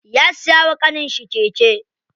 Ya siya wa ƙaninshi keke.